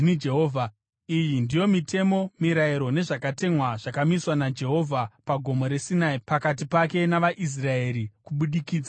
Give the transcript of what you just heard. Iyi ndiyo mitemo, mirayiro nezvakatemwa zvakamiswa naJehovha pagomo reSinai pakati pake navaIsraeri kubudikidza naMozisi.